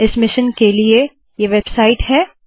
इस मिशन के लिए ये वेबसाइट है